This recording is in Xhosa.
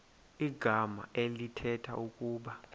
igama elithetha ukuba